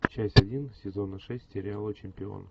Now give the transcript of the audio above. часть один сезона шесть сериала чемпион